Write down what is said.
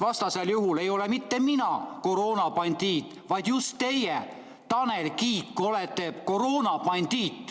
Vastasel juhul ei ole mitte mina koroonabandiit, vaid just teie, Tanel Kiik, olete koroonabandiit.